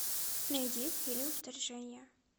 найди фильм вторжение